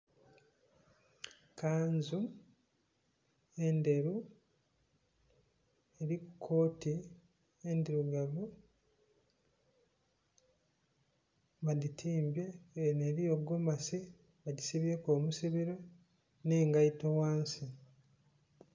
Kanzu endheru eriku kooti endhirugavu badhitimbye nga eno eriyo gomasi bajisibyeku ebisibiro n'engaito ghansi.